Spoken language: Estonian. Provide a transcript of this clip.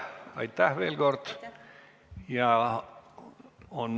Aitäh veel kord!